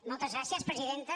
moltes gràcies presidenta